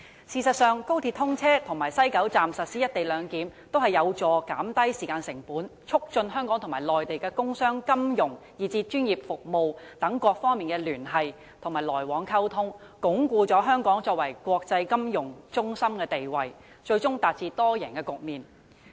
事實上，高鐵通車及在西九龍站實施"一地兩檢"均有助減低時間成本，促進香港和內地的工商、金融以至專業服務等各方面的聯繫和來往溝通，鞏固香港作為國際金融中心的地位，最終達致多贏局面。